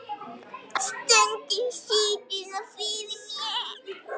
Stundum situr það fyrir mér.